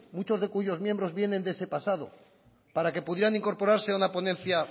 muchos de cuyos miembros vienen de ese pasado para que pudieran incorporarse a una ponencia